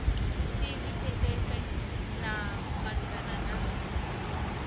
si zwi pfesese malugana na